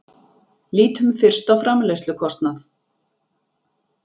Lítum fyrst á framleiðslukostnað.